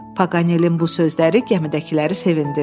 Paqanelin bu sözləri gəmidəkiləri sevindirdi.